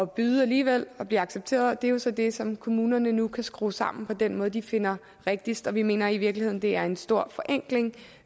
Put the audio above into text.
byde alligevel og blive accepteret det er jo så det som kommunerne nu kan skrue sammen på den måde de finder rigtigst og vi mener i virkeligheden det er en stor forenkling